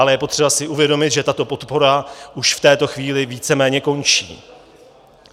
Ale je potřeba si uvědomit, že tato podpora už v této chvíli víceméně končí.